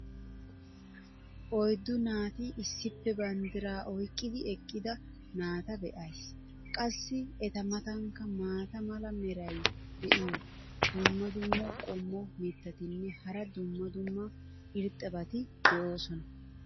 oyddu naati issippe banddiraa oyqqidi eqqida naata be'ays. qassi eta matankka maata mala meray diyo dumma dumma qommo mitattinne hara dumma dumma irxxabati de'oosona.